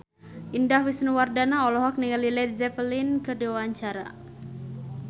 Indah Wisnuwardana olohok ningali Led Zeppelin keur diwawancara